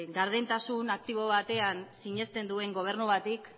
gardentasun aktibo batean sinesten duen gobernu bati